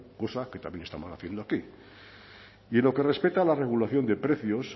cosa que también estamos haciendo aquí y en lo que respecta a la regulación de precios